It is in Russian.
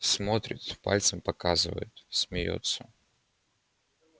смотрит пальцем показывает смеётся